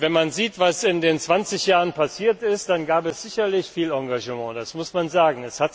Wenn man sieht, was in den 20 Jahren passiert ist, dann gab es sicherlich viel Engagement, das muss man sagen.